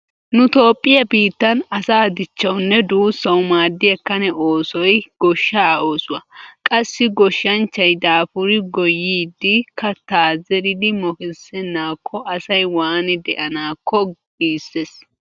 Nu toophphiya biittan asa dichchawunne duussawu maaddiya kane oosoy goshshaa oosuwa. Qassi goshshanchchay daafuri gooyyidi kattaa zeridi mokissennaakko asay waani de'anaakko giissees.